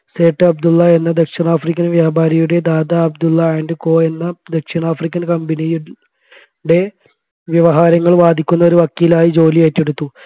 സേട്ട് അബ്ദുള്ള എന്ന ദക്ഷിണാഫ്രിക്കൻ വ്യാപാരിയുടെ ദാദാ അബ്ദുള്ള and co എന്ന ദക്ഷിണാഫ്രിക്കൻ company ടെ വ്യവഹാരങ്ങൾ വാദിക്കുന്ന ഒരു വക്കീലായി ജോലി ഏറ്റെടുത്തു